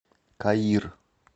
каир